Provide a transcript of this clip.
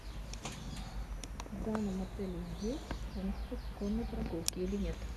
в данном отеле есть функция конной прогулки или нет